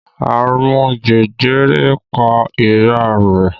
Àrùn jẹjẹrẹ pa ìyá rẹ̀